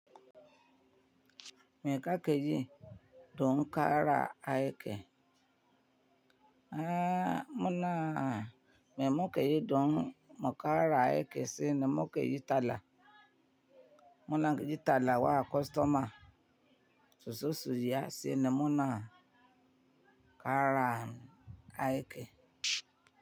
Mai kake yi don ƙara aiki. Eh, muna me mukeyi don muƙara aiki sai na mukayi tala. Muna yi talla wa kwastoma suzo su saya sai na muna kara aiki.